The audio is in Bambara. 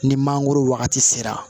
Ni mangoro wagati sera